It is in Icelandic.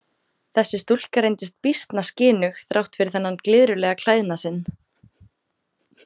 Þessi stúlka reyndist býsna skynug þrátt fyrir þennan glyðrulega klæðnað sinn.